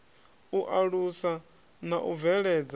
u alusa na u bveledza